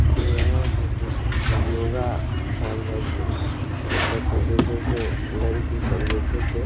यहाँ पे exercise yoga सिखाई जाइ छे अ पीछे से लईकी सब बइठे छे।